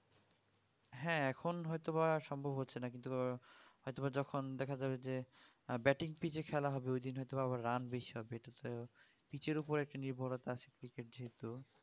হ্যাঁ এখন হয়তো বা সম্ভব হচ্ছে না কিন্তু হয়তো বা যখন দেখা যাবে যে batting পিচ এ খেলা যাবে ঐদিন হয়তো আবার run বেশি হবে এটাতে পিচ এর উপর নির্ভরতা আছে ক্রিকেট যেহুতু